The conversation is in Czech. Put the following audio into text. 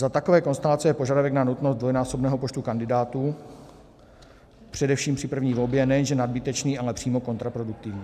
Za takové konstelace je požadavek na nutnost dvojnásobného počtu kandidátů především při první volbě nejenže nadbytečný, ale přímo kontraproduktivní.